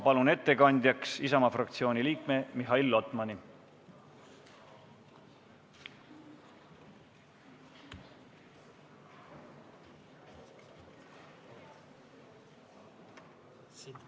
Palun ettekandjaks Isamaa fraktsiooni liikme Mihhail Lotmani!